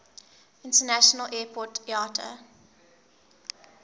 international airport iata